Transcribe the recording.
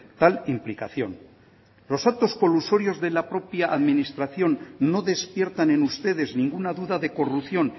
tal implicación los actos colusorios de la propia administración no despiertan en ustedes ninguna duda de corrupción